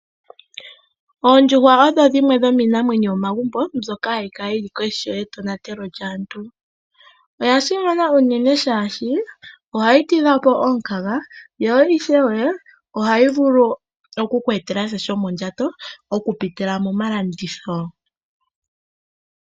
Oondjuhwa odho dhimwe dhomiinamwenyo yili yomomagumbo mbyoka hayi kala koshi yetonatelo lyaantu. Oya simana unene, shaashi ohayi tidha po omukaga yo ishewe ohayi vulu oku ku etela sha shomondjato oku pitila momalanditho.